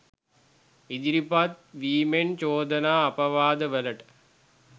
ඉදිරිපත් වීමෙන් චෝදනා අපවාදවලට